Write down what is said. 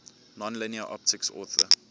nonlinear optics author